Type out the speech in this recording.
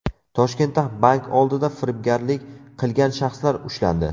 Toshkentda bank oldida firibgarlik qilgan shaxslar ushlandi.